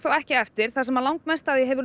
ekki eftir þar sem langmest af því hefur